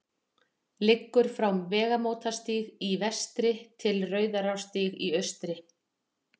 liggur frá vegamótastíg í vestri til rauðarárstígs í austri